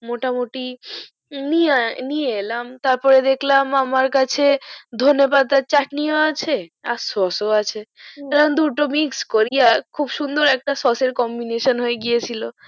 মোটা মুটি নিয়ে এলাম তারপর দেকলাম ধনেপাতার চাটনি ও আছে আর সস ও আছে তো আমি দুটো mix করি আর খুব সুন্দর একটা সস আর combination হয়ে গিয়া ছিল